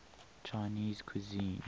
chinese cuisine